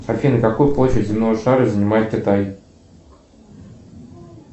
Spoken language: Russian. афина какую площадь земного шара занимает китай